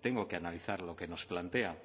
tengo que analizar lo que nos plantea